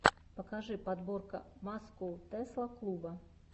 покажи подборка маскоу тесла клуба